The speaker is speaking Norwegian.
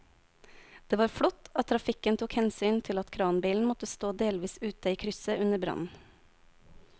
Det var flott at trafikken tok hensyn til at kranbilen måtte stå delvis ute i krysset under brannen.